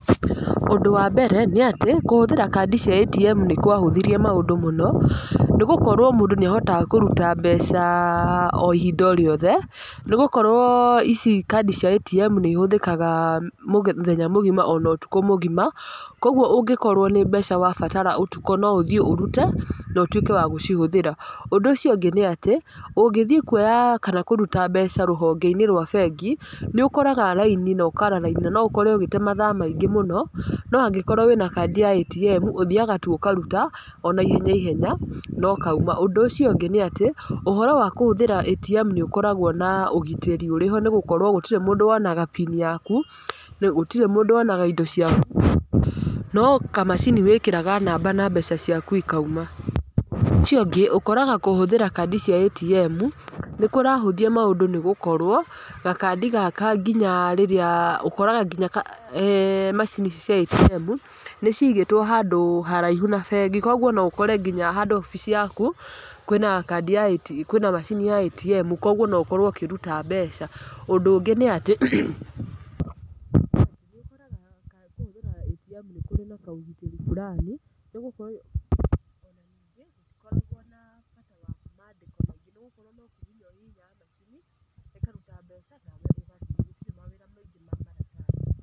Ũndũ wa mbere, níĩatĩ, kũhũthĩra kandi cia ATM nĩ kwahũthirie maũndũ mũno, nĩ gũkorwo mũndũ nĩ ahotaga kũruta mbeca o ihinda o rĩothe, nĩgũkorwo ici kandi cia ATM nĩ ihũthĩkaga mũthenya mũgima ona ũtukũ mũgima, kũguo ũngĩkorwo nĩ mbeca wabatara ũtukũ no ũthiĩ ũrute, na ũtuĩke wa gũcihũthĩra. Ũndũ ũcio ũngĩ nĩ atĩ, ũngĩthiĩ kuoya kana kũruta mbeca rũhonge-inĩ rwa bengi, nĩ ũkoraga raini na ũkaara raini, na no ũkore ũgĩte mathaa maingĩ mũno, no angĩkorwo wĩna kandi ya ATM, ũthiaga tu ũkaruta, ona ihenya ihenya, na ũkauma. Ũndũ ũcio ũngĩ nĩ atĩ, ũhoro wa kũhũthĩra ATM nĩ ũkoragwo na ũgitĩri ũrĩ ho nĩ gũkorwo gũtirĩ mũndũ wonaga pini yaku, nĩ gũtirĩ mũndũ wonaga indo ciaku. No kamacini wĩkĩraga namba na mbeca ciaku ikauma. Ũndũ ũcio ũngĩ, ũkoraga kũhũthĩra kandi cia ATM, nĩ kũrahũthia maũndũ nĩ gũkorwo, gakandi gaka nginya rĩrĩa ũkoraga nginya eeh macini cia ATM, nĩ ciigĩtwo handũ haraihu na bengi. Koguo no ũkore nginya handũ oboco yaku, kwĩna kandi ya kwĩna macini ya ATM, koguo no ũkorwo ũkĩruta mbeca. Ũndũ ũngĩ nĩ atĩ, nĩ ũkoraga ka kũhũthĩra ATM nĩ kũrĩ na kaũgitĩri fulani, nĩ gũkorwo . Ona ningĩ ndũkoragwo na bata wa mandĩko maingĩ, nĩ gũkorwo no kũhihinya ũhihinyaga macini, ĩkaruta mbeca, nawe ũgathiĩ. Gũtirĩ mawĩra maingĩ ma maratathi.